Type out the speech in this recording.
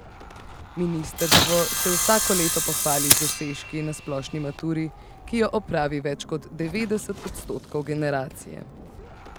Ministrstvo se vsako leto pohvali z dosežki na splošni maturi, ki jo opravi več kot devetdeset odstotkov generacije.